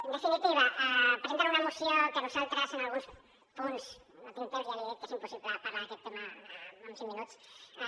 en definitiva presenten una moció que nosaltres en alguns punts no tinc temps ja li he dit que és impossible parlar d’aquest tema en cinc minuts